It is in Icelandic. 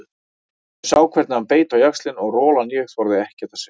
Ég sá hvernig hann beit á jaxlinn og rolan ég þorði ekkert að segja.